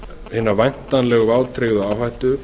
hina væntanlegu vátryggðu áhættu